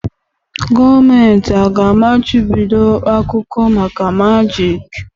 Gọọmenti aga-amachibido akụkọ maka majịk?